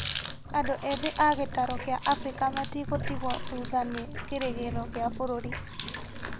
andũ ethĩ a gĩtaro kĩa Afrika metigũtigwo thutha na kĩrĩgĩro gĩa bũrũri